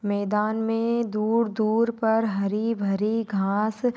मैदान में दूर दूर पर हरी भरी घास--